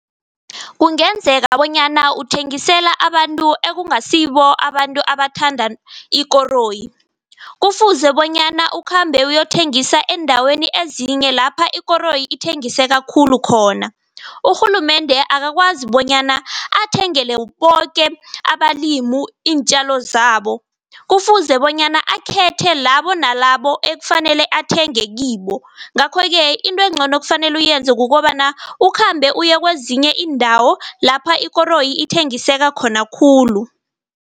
Kungenzeka bonyana uthengisela abantu ekungasibo abantu abathanda ikoroyi. Kufuze bonyana ukhambe uyokuthengisa eendaweni ezinye lapha ikoroyi ithengiseka khulu khona. Urhulumende akakwazi bonyana athengele boke abalimu iintjalo zabo. Kufuze bonyana akhethe labo nalabo ekufanele athenge kibo, ngakho-ke into engcono ekufanele uyenze kukobana ukhambe uye kwezinye iindawo lapha ikoroyi ithengiseka khona khulu.